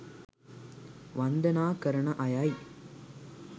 වන්දනා කරන අයයි.